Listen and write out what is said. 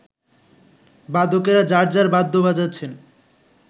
বাদকেরা যাঁর যাঁর বাদ্য বাজাচ্ছেন